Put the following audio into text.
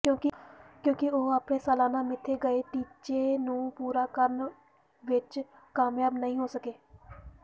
ਕਿਉਂਕਿ ਉਹ ਅਪਣੇ ਸਾਲਾਨਾ ਮਿੱਥੇ ਗਏ ਟੀਚੇ ਨੂੰ ਪੂਰਾ ਕਰਨ ਵਿਚ ਕਾਮਯਾਬ ਨਹੀਂ ਹੋ ਸਕੇ